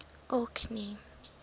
orkney